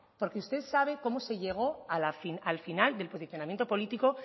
porque usted sabe cómo se llego al final del posicionamiento político